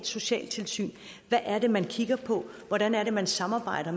socialtilsyn hvad er det man kigger på hvordan er det man samarbejder